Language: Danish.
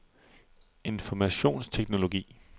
informationsteknologi